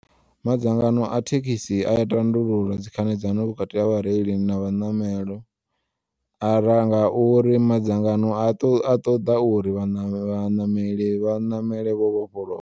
Madzangano a thekisi aya tandulula dzi khanedzano vhukati ha vhareili na vhanamelo ara ngauri madzangano a ṱoḓa uri vhanameli vha ṋamele vho vhofholowa.